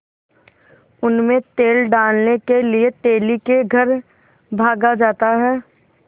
उनमें तेल डालने के लिए तेली के घर भागा जाता है